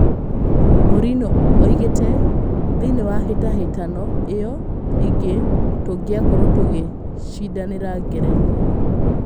Mourinho oigĩte "thĩinĩ ya hĩtahĩtano ĩyo ingĩ tũngĩa korwo tũgĩcindanĩra ngerenwa.